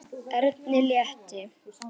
Erni létti.